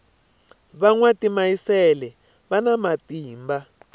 va nwa timayisele vana matimba